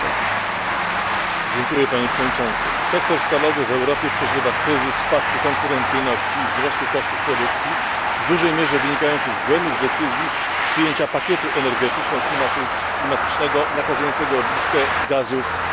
Sektor stalowy w Europie przeżywa kryzys spadku konkurencyjności i wzrostu kosztów produkcji, w dużej mierze wynikający z błędnych decyzji przyjęcia pakietu energetyczno klimatycznego nakazującego obniżkę gazów cieplarnianych do 2020 r.